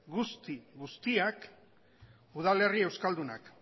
guzti guztiak udalerri euskaldunak